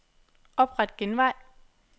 Opret genvej.